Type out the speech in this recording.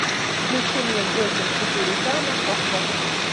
включи мне джокер четыре ка на окко